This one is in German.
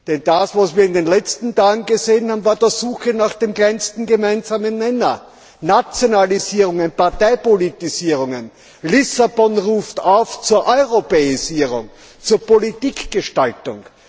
Denn das, was wir in den letzten Tagen gesehen haben, war doch die Suche nach dem kleinsten gemeinsamen Nenner Nationalisierungen, Parteipolitisierungen. Lissabon ruft auf zur Europäisierung, zur Politikgestaltung!